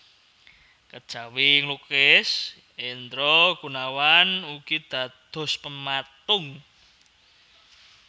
Kejawi nglukis Hendra Gunawan ugi dados pematung